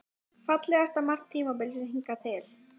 Fallegasta mark tímabilsins hingað til?